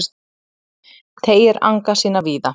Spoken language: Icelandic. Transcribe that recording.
Teygir anga sína víða